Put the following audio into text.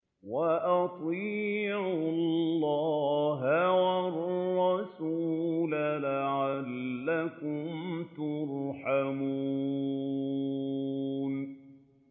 وَأَطِيعُوا اللَّهَ وَالرَّسُولَ لَعَلَّكُمْ تُرْحَمُونَ